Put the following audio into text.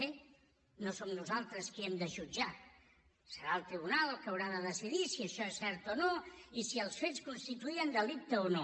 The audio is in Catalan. bé no som nosaltres qui hem de jutjar serà el tribunal el que haurà de decidir si això és cert o no i si els fets constituïen delicte o no